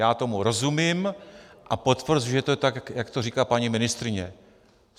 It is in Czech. Já tomu rozumím a potvrzuji, že to je tak, jak to říká paní ministryně.